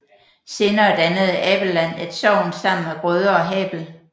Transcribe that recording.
Senere dannede Abelland et sogn sammen med Grøde og Habel